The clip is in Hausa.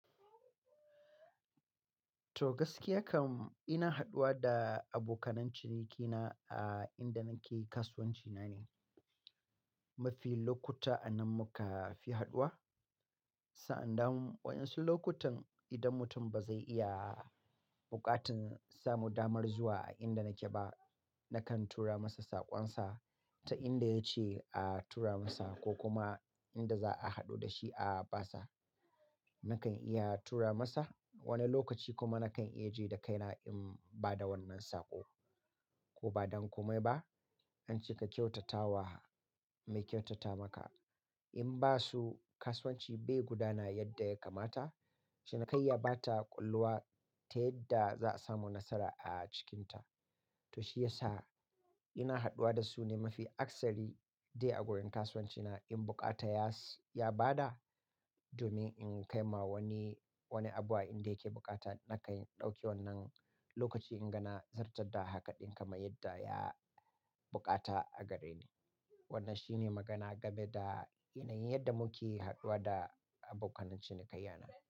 To gaskiya kam ina haɗuwa da abokan cinikina a inda nake kasuwanci na ne. Mafi lokuta a nan muka fi haɗuwa. Sa'an nan wasu lokutan idan mutum ba zai iya buƙatar samu damar zuwa a inda nake ba, na kan tura masa saƙonsa ta inda ya ce a tura masa ko kuma inda za a haɗu da shi a ba sa. Na kan iya tura masa. Wani lokaci kuma na kan ajiye da kaina in ba da wannan saƙo ko ba don kome ba. An ce ka kyautata wa mai kyautata maka. In ba su kasuwanci bai gudana yadda ya kamata. Cinikayya ba ta ƙulluwa ta yadda za a samu nasara a cikinta. To shi ya sa ina haɗuwa da su ne mafi akasari dai a gurin kasuwanci na in bukata ya bada domin in kai ma wani, wani abu a inda yake bukata na ka ɗauki wannan lokaci in ga na zartar da haka ɗin kama yadda ya bukata a gare ni. Wannan shi ne magana game da yanayin yadda muke haɗuwa da abokan cinikayya na.